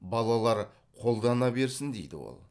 балалар қолдана берсін дейді ол